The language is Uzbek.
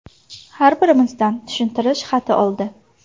Har birimizdan tushuntirish xati oldi.